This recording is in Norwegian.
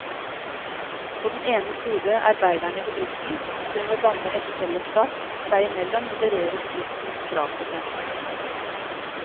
På den ene side arbeiderne i bedriften, som ved å danne et fellesskap seg imellom modererer bedriftens krav til dem.